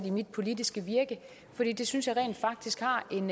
i mit politiske virke for det synes jeg rent faktisk har en